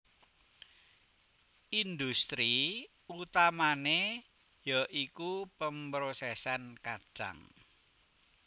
Industri utamané ya iku pemrosèsan kacang